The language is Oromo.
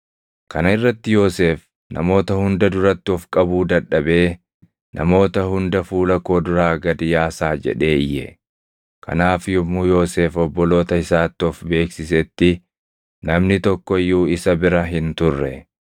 Kana irratti Yoosef namoota hunda duratti of qabuu dadhabee, “Namoota hunda fuula koo duraa gad yaasaa!” jedhee iyye. Kanaaf yommuu Yoosef obboloota isaatti of beeksisetti namni tokko iyyuu isa bira hin turre.